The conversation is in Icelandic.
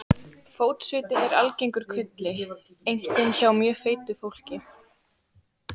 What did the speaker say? Fótsviti eru algengur kvilli, einkum hjá mjög feitu fólki.